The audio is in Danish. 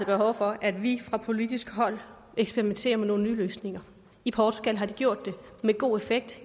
behov for at vi fra politisk hold eksperimenterer med nogle nye løsninger i portugal har de gjort det med god effekt